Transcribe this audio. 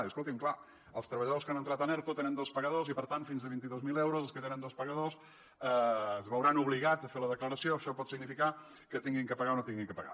diu escoltin clar els treballadors que han entrat en erto tenen dos pagadors i per tant fins a vint dos mil euros els que tenen dos pagadors es veuran obligats a fer la declaració això pot significar que hagin de pagar o no hagin de pagar